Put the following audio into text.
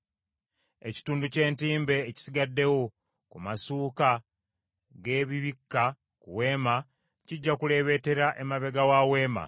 Ekitundu ky’entimbe ekisigaddewo ku masuuka g’ebibikka ku Weema kijja kuleebeetera emabega wa Weema.